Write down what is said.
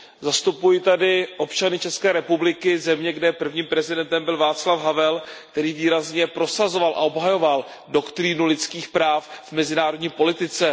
Zastupuji tady občany České republiky, země, kde prvním prezidentem byl Václav Havel, který výrazně prosazoval a obhajoval doktrínu lidských práv v mezinárodní politice.